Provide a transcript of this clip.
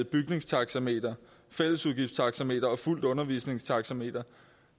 bygningstaxameter fællesudgiftstaxameter og fuldt undervisningstaxameter